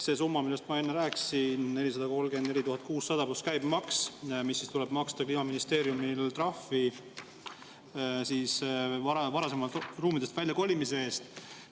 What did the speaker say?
See summa, millest ma enne rääkisin: 434 600 eurot pluss käibemaks, mis tuleb maksta Kliimaministeeriumil trahvi varasemalt ruumidest väljakolimise eest.